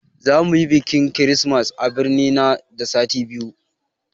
Za muyi bikin kirismas a birni nan da sati biyu